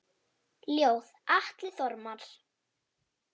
Ljóð: Atli Þormar